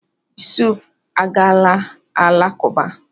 Yusuf agaala alakụba.